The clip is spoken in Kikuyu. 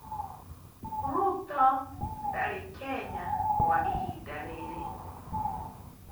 Ruto ndarĩ Kenya kwa ihinda rĩrĩ.